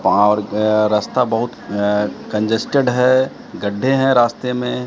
वहां और अह रास्ता बहुत अह कन्जेस्टेड है गड्ढे हैं रास्ते में--